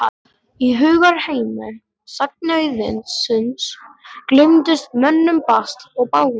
Í hugarheimi sagnaauðsins gleymdist mönnum basl og bágindi.